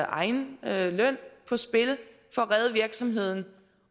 egen løn på spil for at redde virksomheden